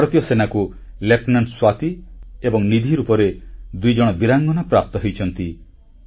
ଭାରତୀୟ ସେନାକୁ ଲେଫ୍ଟନାଣ୍ଟ ସ୍ୱାତି ଏବଂ ନିଧି ରୂପରେ ଦୁଇଜଣ ବୀରାଙ୍ଗନା ପ୍ରାପ୍ତ ହୋଇଛନ୍ତି